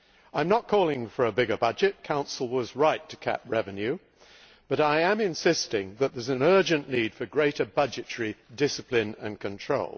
I am not calling for a bigger budget Council was right to cap revenue but I am insisting that there is an urgent need for greater budgetary discipline and control.